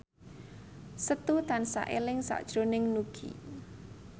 Setu tansah eling sakjroning Nugie